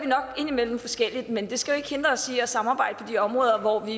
nok indimellem forskellige men det skal ikke hindre os i at samarbejde på de områder hvor vi